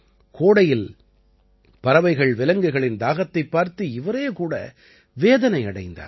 கோடையில் பறவைகள்விலங்குகளின் தாகத்தைப் பார்த்து இவரே கூட வேதனை அடைந்தார்